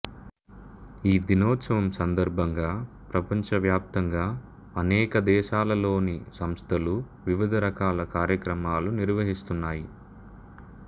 ఈ దినోత్సవం సందర్భంగా ప్రపంచవ్యాప్తంగా అనేక దేశాలలోని సంస్థలు వివిధ రకాల కార్యక్రమాలు నిర్వహిస్తున్నాయి